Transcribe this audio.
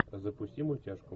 запусти мультяшку